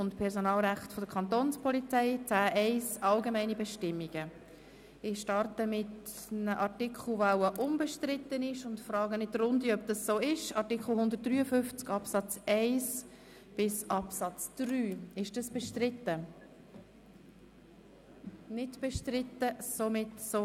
Wir befinden uns in der ersten Lesung des Polizeigesetzes (PolG) und gelangen zu Artikel 153. 10 Organisation- und Personalrecht der Kantonspolizei 10.1